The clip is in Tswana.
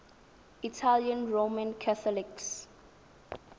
italian roman catholics